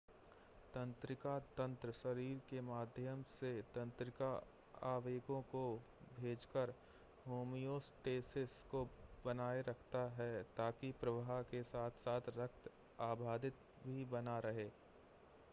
तंत्रिका तंत्र शरीर के माध्यम से तंत्रिका आवेगों को भेजकर होमियोस्टेसिस को बनाए रखता है ताकि प्रवाह के साथ-साथ रक्त अबाधित भी बना रहे